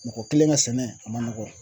Mɔgɔ kelen ka sɛnɛ a man nɔgɔ.